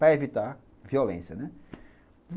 Para evitar violência, né?